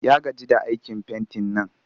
Ya gaji da aikin fentin nan